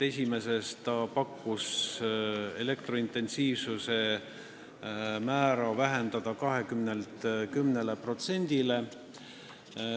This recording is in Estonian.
Esimeses ta pakkus elektrointensiivsuse määra vähendada 20%-lt 10%-le.